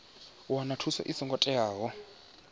u wana thuso i songo teaho